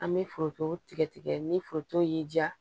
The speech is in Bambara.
An bɛ foronto tigɛ tigɛ ni foronto y'i diya